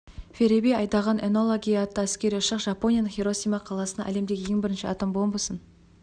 фереби айдаған энола гей атты әскери ұшақ жапонияның хиросима қаласына әлемдегі ең бірінші атом бомбасын